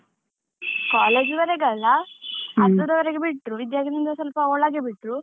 College ವರೆಗಲ್ಲ ಅರ್ಧದವರೆಗೆ ಬಿಟ್ರು, ವಿದ್ಯಾರ್ಥಿ ಆಗಿದ್ರಿಂದ ಸ್ವಲ್ಪ ಒಳಗೆ ಬಿಟ್ರು.